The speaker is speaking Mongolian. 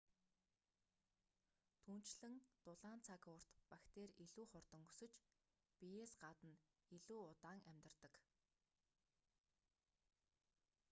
түүнчлэн дулаан цаг уурт бактери илүү хурдан өсөж биеэс гадна илүү удаан амьдардаг